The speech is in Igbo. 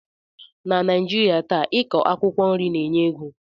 Na Naijirịa taa,i kọ akwụkwọ nri na-enye ego